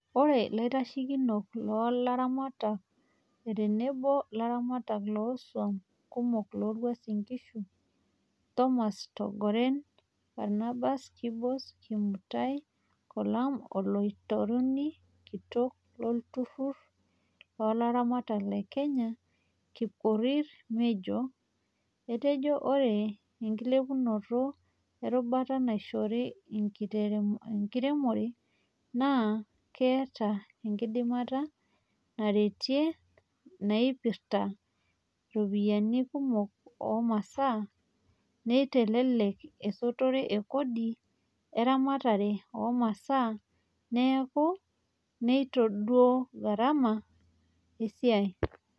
Oree Laitashekinok loo laramatak aa teneboo laramataka loosuam kumok loo Uasin Ngishu Thomas Korgoren, Barnabas Kibos, Kimutai Kolum o lautaroni kitok lolturur looramatak le Kenya Kipkorir Menjo, etejo ore enkilepunoto erubata naishori enkiremore naa ketaa enkidimata naretia naipirita iropiyiani kumok oo masaa, neitelelek esotore e kodi eramatare oo masaa neeku neitadou gharama esiai.